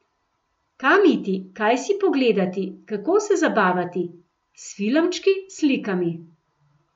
Kam iti, kaj si pogledati, kako se zabavati, s filmčki, slikami.